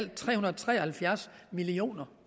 tre hundrede og tre og halvfjerds million